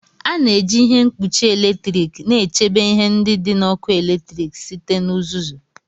A na-eji ihe mkpuchi eletrik na-echebe ihe ndị dị na ọkụ eletrik site na uzuzu.